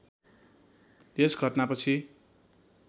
यस घटनापछि